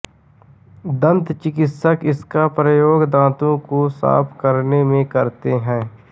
दंतचिकित्सक इसका प्रयोग दांतो को साफ करने में करते हैं